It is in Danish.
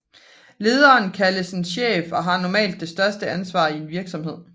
Lederen kaldes en chef og har normalt det største ansvar i en virksomhed